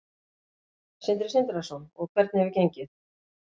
Sindri Sindrason: Og hvernig hefur gengið?